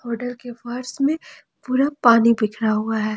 Hotel के फर्श में पूरा पानी बिखरा हुआ है।